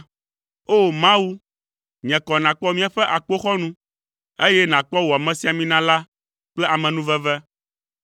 O! Mawu, nye kɔ nàkpɔ míaƒe akpoxɔnu, eye nakpɔ wò amesiamina la kple amenuveve.